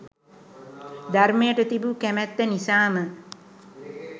ධර්මයට තිබූ කැමැත්ත නිසාම